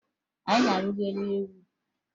Anyị na-arịgo n'elu ugwu